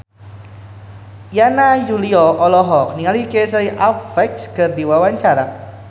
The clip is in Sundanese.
Yana Julio olohok ningali Casey Affleck keur diwawancara